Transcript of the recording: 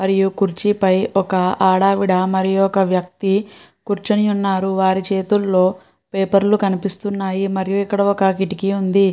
మరియు కుర్చీ పై ఒక ఆడావిడ మరియు ఒక వ్యక్తి కూ ర్చుని ఉన్నారు. వారు చేతుల్లో పేపర్ లు కనిపిస్తున్నాయి మరియు ఇక్కడ ఒక కిటికీ ఉంది.